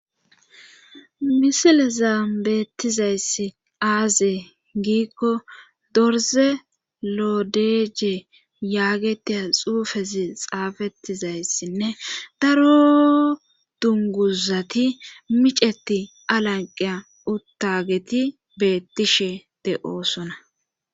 misilezan beettizayssi aazee giikko dorze lodeje yaagetia xuufezi xaafetizayssinne daro dunguzati miceti alanqiya uttageti beettishe de7oosona